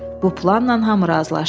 Bu planla hamı razılaşdı.